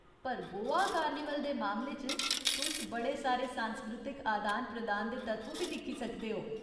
पर गोवा कार्निवल दे मामले च, तुस बड़े सारे सांस्कृतिक अदान प्रदान दे तत्व बी दिक्खी सकदे ओ।